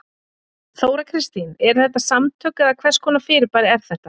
Þóra Kristín: Eru þetta samtök eða hvers konar fyrirbæri er þetta?